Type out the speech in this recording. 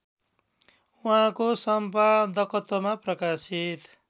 उहाँको सम्पादकत्वमा प्रकाशित